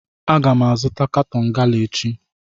Aga m azụta katọn gala echi